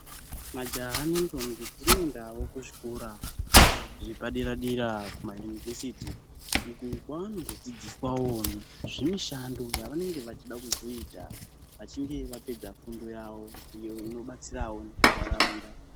Majaha nendombi dzinoendawo kuzvikora zvepadera dera kuma Inivhesiti uko kwaano ndodzidziswawo zvemushando yavanenge veida kuzoita vachinge vapedza fundo yavo iyo inobatsirawo ndaraunda.